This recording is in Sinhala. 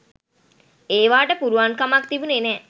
ඒවාට පුළුවන්කමක් තිබුණෙ නෑ